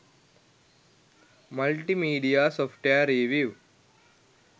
multimedia software review